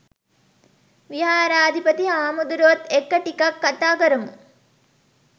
විහාරාධිපති හාමුදුරුවොත් එක්ක ටිකක් කතා කරමු.